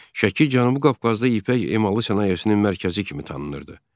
Şəki Cənubi Qafqazda ipək emalı sənayesinin mərkəzi kimi tanınırdı.